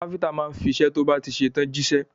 Kápẹ́ńtà yóò fiṣẹ́ tó bá ti ṣe tán jíṣẹ́.